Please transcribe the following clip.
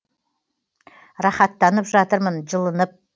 рахаттанып жатырмын жылынып